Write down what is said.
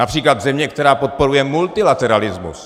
Například země, která podporuje multilateralismus.